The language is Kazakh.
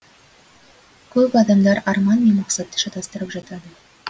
көп адамдар арман мен мақсатты шатастырып жатады